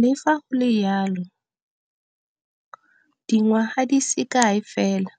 Le fa go le jalo, dingwaga di se kae fela